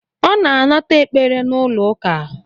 Ọ na-anata ekpere n'ụlọ uka